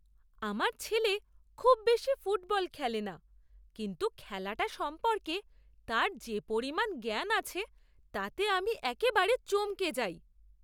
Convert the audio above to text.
আমার ছেলে খুব বেশি ফুটবল খেলে না কিন্তু খেলাটা সম্পর্কে তার যে পরিমাণ জ্ঞান আছে তাতে আমি একেবারে চমকে যাই।